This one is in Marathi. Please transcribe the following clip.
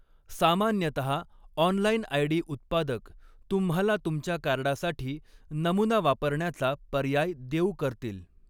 सामान्यतः, ऑनलाइन आयडी उत्पादक तुम्हाला तुमच्या कार्डासाठी नमुना वापरण्याचा पर्याय देऊ करतील.